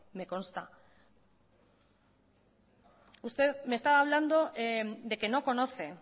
me costa usted me está hablando de que no conoce